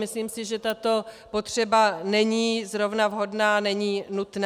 Myslím si, že tato potřeba není zrovna vhodná, není nutná.